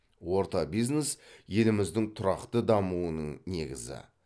орта бизнес еліміздің тұрақты дамуының негізі